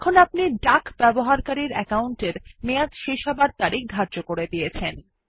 এখন আপনি ডাক ব্যবহারকারীর একাউন্টের মেয়াদ শেষ হওয়ার তারিখ ধার্য করে দিয়েছেন